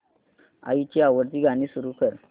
आईची आवडती गाणी सुरू कर